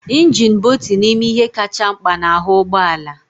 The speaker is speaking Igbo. Injin bụ otu n'ime ihe kacha mkpa n'ahu ụgbọ ala